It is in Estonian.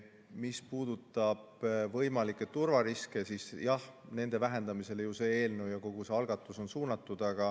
Mis puudutab võimalikke turvariske, siis jah, nende vähendamisele on ju see eelnõu ja kogu see algatus suunatud.